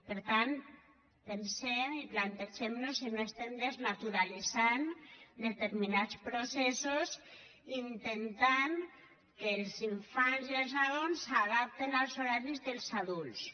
per tant pensem i plantegem nos si no desnaturalitzem determinats processos intentant que els infants i els nadons s’adaptin als horaris dels adults